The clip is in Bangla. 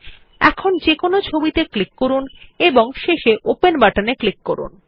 এখন যেকোনো একটি ছবিত়ে ক্লিক করুন এবং শেষে ওপেন বাটনে ক্লিক করুন